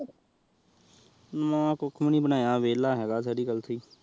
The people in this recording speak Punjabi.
ਨਾ ਕੁਛ ਇ ਬਨਾਯਾ ਵੇਲ੍ਲਾ ਹੈਗਾ ਸ੍ਰੀ ਕਲਸੀ